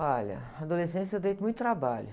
Olha, na adolescência eu dei muito trabalho.